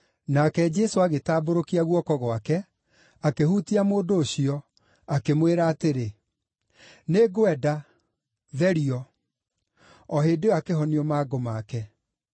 Nake Jesũ agĩtambũrũkia guoko gwake, akĩhutia mũndũ ũcio, akĩmwĩra atĩrĩ, “Nĩngwenda. Therio!” O hĩndĩ ĩyo akĩhonio mangũ make.